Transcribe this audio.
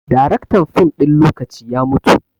Daraktan fim ɗin lokaci ya mutu